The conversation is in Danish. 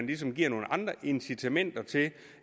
ligesom giver nogle andre incitamenter til